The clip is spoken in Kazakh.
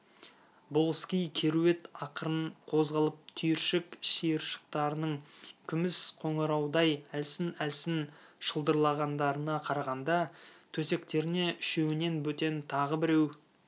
болыскей керует ақырын қозғалып түйіршік-шиыршықтарының күміс қоңыраудай әлсін-әлсін шылдырлағандарына қарағанда төсектеріне үшеуінен бөтен тағы біреу